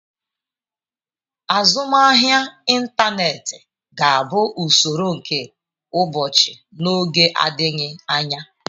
Azụmahịa ịntaneti ga-abụ usoro nke ụbọchị n'oge adịghị anya.